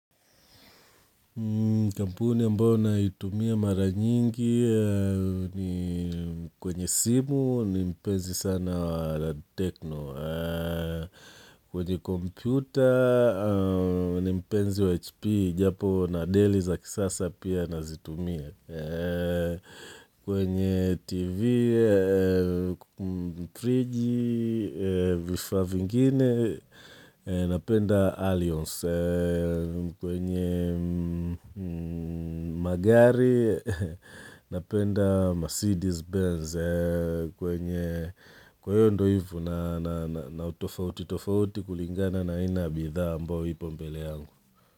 Kampuni ambayo naitumia mara nyingi ni kwenye simu ni mpenzi sana wa tecno. Kwenye kompyuta ni mpenzi wa hp, japo na deli za kisasa pia nazitumia. Kwenye tv, friji, vifaa vingine, napenda allyons. Kwenye magari napenda Mercedes Benz kwenye kwa hiyo ndio ivo na utofauti tofauti kulingana na aina ya bidhaa ambayo ipo mbele yangu.